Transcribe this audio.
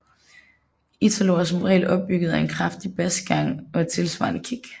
Italo er som regel opbygget af en kraftig basgang og et tilsvarende kick